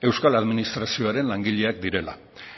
euskal administrazioaren langileak direla